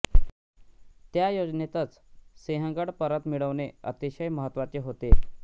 त्या योजनेतच सिंहगड परत मिळवणे अतिशय महत्त्वाचे होते